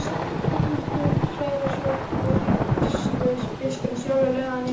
Magnús Hlynur Hreiðarsson: Og vígslubiskupinn sjálfur, lagði hann eitthvað til?